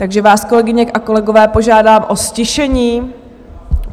Takže vás, kolegyně a kolegové, požádám o ztišení.